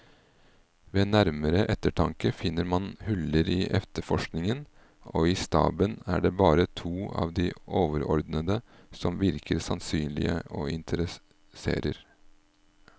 Ved nærmere eftertanke finner man huller i efterforskningen, og i staben er det bare to av de overordnede som virker sannsynlige og interesserer.